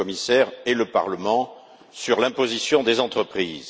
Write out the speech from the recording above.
le commissaire et le Parlement sur l'imposition des entreprises.